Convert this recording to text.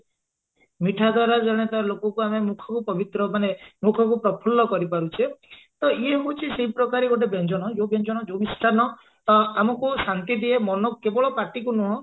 ମିଠା ଦ୍ଵାରା ଜଣେ ତା ଲୋକକୁ ମୁଖକୁ ଆମେ ମୁଖକୁ ପବିତ୍ର ମାନେ ମୁଖକୁ ପ୍ରଫୁଲ୍ଲ କରିପାରୁଛେ ତ ଇଏ ହଉଛି ସେଇ ପ୍ରକାର ଗୋଟେ ବ୍ୟଞ୍ଜନ ଯଉ ବ୍ୟଞ୍ଜନ ଯଉ ମିଷ୍ଠାନ ଆ ଆମକୁ ଶାନ୍ତି ଦିଏ ମନକୁ କେବଳ ପାଟିକୁ ନୁହେଁ